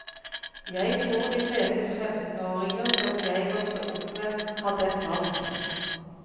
Jeg tror de fleste femtenåringer som jeg vokste opp med, hadde et valg.